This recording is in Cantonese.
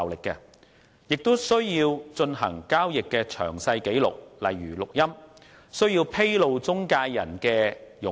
銀行亦需要有進行交易的詳細紀錄，例如錄音，又需要披露中介人的佣金。